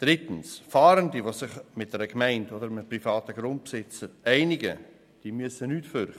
Drittens: Fahrende, die sich mit einer Gemeinde oder einem privaten Grundbesitzer einigen, haben nichts zu befürchten.